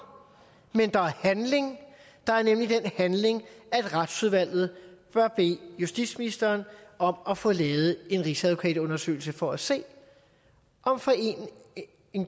men der er handling der er nemlig den handling at retsudvalget bør bede justitsministeren om at få lavet en rigsadvokatundersøgelse for at se om foreningen